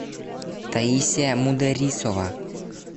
таисия мударисова